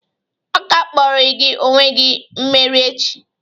Aga-akpọrịrị gị onye mmeri echi!